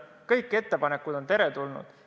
Kõik ettepanekud on teretulnud.